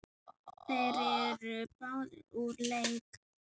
Þeir eru báðir úr leik.